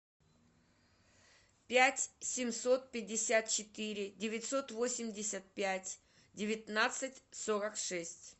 пять семьсот пятьдесят четыре девятьсот восемьдесят пять девятнадцать сорок шесть